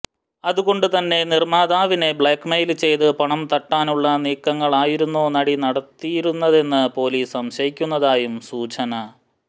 അതുകൊണ്ട് തന്നെ നിര്മാതാവിനെ ബ്ലാക്മെയില് ചെയ്ത് പണംതട്ടാനുള്ള നീക്കങ്ങളായിരുന്നോ നടി നടത്തിയിരുന്നതെന്ന് പോലീസ് സംശയിക്കുന്നതായും സൂചന